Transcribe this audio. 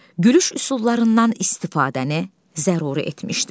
gülüş üsullarından istifadəni zəruri etmişdir.